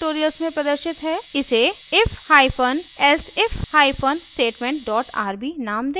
इसे if hyphen elsif hyphen statement dot rb नाम दें